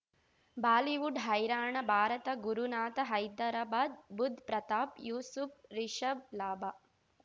Bollywood ಹೈರಾಣ ಭಾರತ ಗುರುನಾಥ ಹೈದರಾಬಾದ್ ಬುಧ್ ಪ್ರತಾಪ್ ಯೂಸುಫ್ ರಿಷಬ್ ಲಾಭ